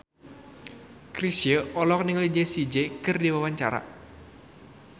Chrisye olohok ningali Jessie J keur diwawancara